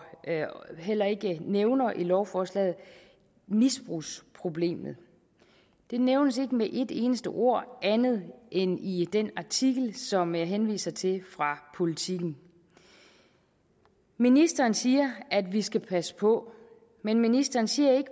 heller ikke nævner i lovforslaget misbrugsproblemet det nævnes ikke med et eneste ord andet end i den artikel som jeg henviser til fra politiken ministeren siger at vi skal passe på men ministeren siger